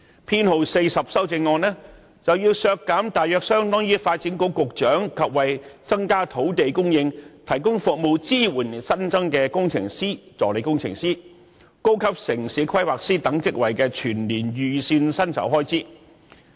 他亦提出修正案編號 42， 要求削減大約相當於發展局局長及為增加土地供應提供服務支援而新增的工程師/助理工程師及高級城市規劃師等職位的全年預算薪酬開支。